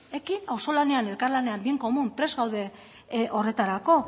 ekin auzolanean elkarlanean bien común prest gaude horretarako